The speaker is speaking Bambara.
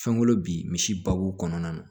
Fɛnko bi misi ba bo kɔnɔna na